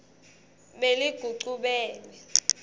beligucubele